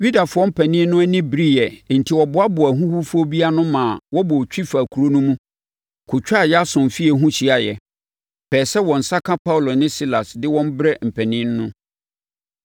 Yudafoɔ mpanin no ani bereeɛ enti wɔboaboaa ahuhufoɔ bi ano maa wɔbɔɔ twi faa kuro no mu kɔtwaa Yason fie ho hyiaeɛ, pɛɛ sɛ wɔn nsa ka Paulo ne Silas de wɔn brɛ mpanin no.